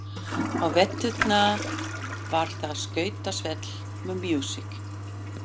Á veturna var þar skautasvell með músík.